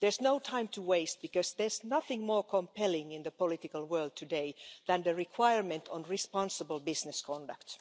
There is no time to waste, because there's nothing more compelling in the political world today than the requirement on responsible business conduct.